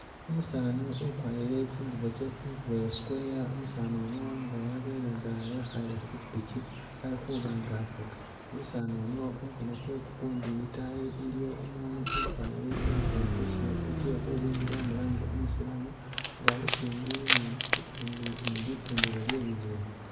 Umusani ukwarile tsingubo tsa ingubo ya'square umusanu no nga wabelenga ekha la khupikipiki alikhuba nga afuga umusanu no khumukhono kwe kukundi iliwo umunu ukwarile tsingubo tseshe tsekhumhwibilila mulange umusilamu nga Ali shimbi ni li li tundilo lyebibindu